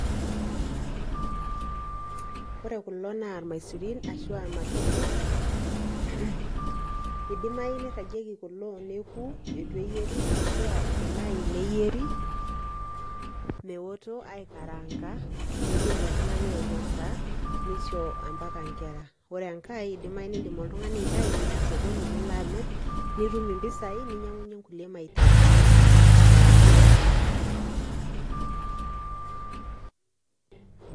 Ore kulo naa irmaisurin ashua ilmatoke , idimayu neiragieki kulo neku eitu eyieri ashua idimayu neyieri meoto aikaranka , nidim oltungani ainosa , nisho ampaka nkera . Ore enkae idimayu niya oltungani osokoni nilo amir , nitum impisai ninyiangunyie nkulie mahitajini eatua aji.